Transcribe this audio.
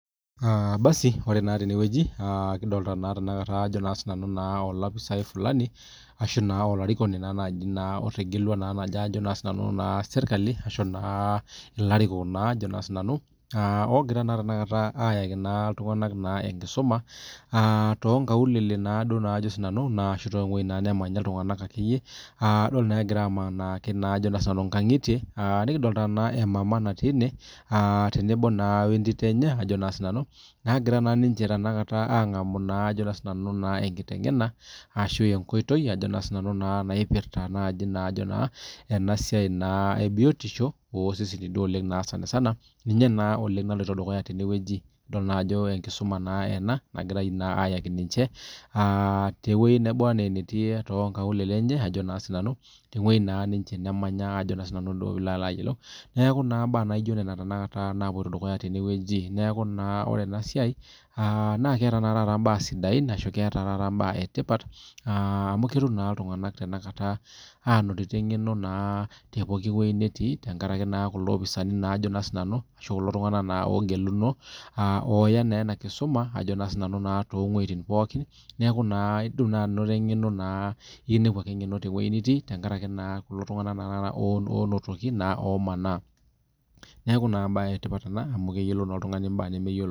Ore naa tenewueji kidolita olopisa Fulani ashu olarikoni otegelua sirkali ashu elarikok ogira ayaki iltung'ana enkisuma too wuejitin nemanya iltung'ana edol Ajo egira amanaa enkangitie nikidolita emama natii ene tenebo entito enye nagira angamu enkiteng'ena ashu enkoitoi enasiai ebiotiosho oseseni ninye naa naloito dukuya tenewueji edolita naa Ajo enkisuma ena nagirai ayaki ninche tewueji nabaa enetii tewueji naba enaa enemanya neeku ninye naloito dukuya tenewueji neeku ore enasiai naa keeta mbaa sidain ashu keeta mbaa etipat amu ketum naa iltung'ana Tanakata eng'eno tewueji pookin netii tenkaraki kulo opisani Ajo nanu ashu kulo tung'ana ogeluno otaa naa ena kisuma towuejitin pookin neeku etum naa naa eng'eno neeku ekinepuni naake eng'eno tewueji nitii tenkaraki kulo tung'ana tata onotoki omanaa neeku mbae etipat ena amu keyiolou naa oltung'ani embae etipat nemeyiolo